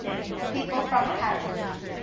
people from paris